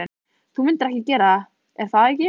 Þú myndir gera það, er það ekki?